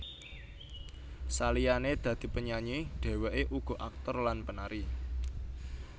Saliyane dadi penyanyi dheweke uga aktor lan penari